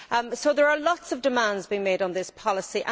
So there are a lot of demands being made on this policy.